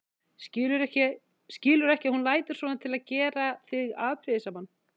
Skilurðu ekki að hún lætur svona til að gera þig afbrýðisaman?